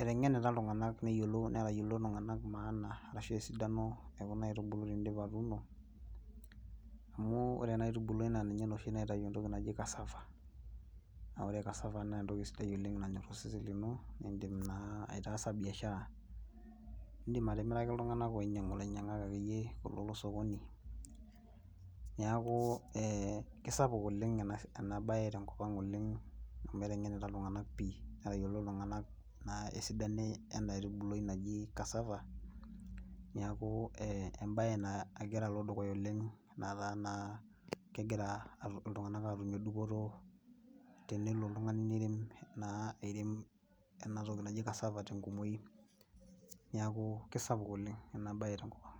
eteng'enita iltung'anak netayiolito iltung'anak maana ashu esidano e kuna aitubulu teniindip atuuno amu ore ena aitubulwai naa ninye oshi naitau entoki naji cassava. Ore cassava naa entoki sidai oleng nanyorr osesen lino niindim naa ataasa biashara. Iindim atimiraki iltung'anak oinyang'u, ilainyang'ak akeyie kulo losokoni. Neeku kisapuk oleng ena bae tenkopang oleng amu eteng'enita iltung'anak pii netayiolito iltung'anak esidano ena aitubulwai naji cassava niaku embae nagira alo dukuya oleng netaa naa kegira iltung'anak aatumie dupoto tenelo oltung'ani nirem naa, airem ena toki naji cassava tenkumoi. Neeku sapuk oleng ena bae tenkopang